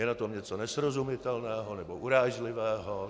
Je na tom něco nesrozumitelného nebo urážlivého?